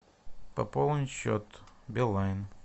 пополнить счет билайн